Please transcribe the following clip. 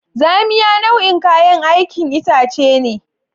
Zamiya nau'in kayan aikin itace ne.